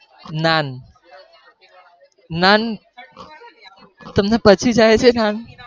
નાન, નાન તમને પચી જાય છે નાન?